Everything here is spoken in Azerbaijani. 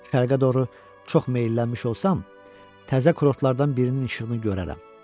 Şərqə doğru çox meyllənmiş olsam, təzə kotorlardan birinin işığını görərəm.